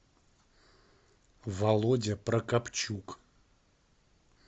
володя прокопчук